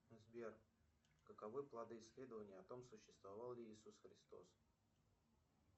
сбер каковы плоды исследования о том существовал ли иисус христос